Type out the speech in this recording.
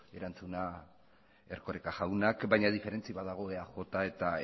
erantzuna erkoreka jaunak baina diferentzi bat dago eaj eta